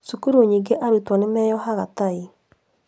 Cukuru nyingĩ arutwo nĩ meohaga tai